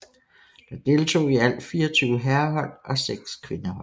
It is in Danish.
Der deltog i alt 24 herrehold og 6 kvindehold